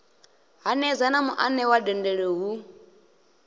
hanedza na muanewa dendele hu